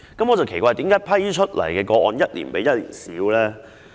我奇怪為何獲批的個案一年比一年少。